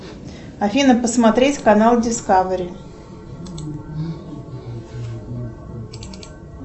афина посмотреть канал дискавери